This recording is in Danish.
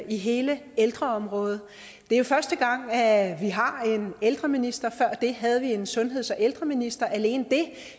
i hele ældreområdet det er første gang at vi har en ældreminister før det havde vi en sundheds og ældreminister alene det